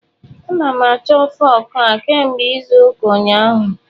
A na m achọ fụk a kemgbe izu ụka ụnyaahụ.